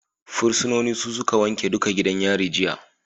Fursunoni su suka wanke duka gidan yari jiya